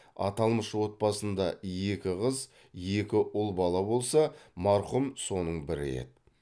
аталмыш отбасында екі қыз екі ұл бала болса марқұм соның бірі еді